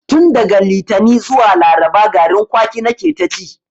Tun daga litani zuwa laraba garin kwaki na ke ta ci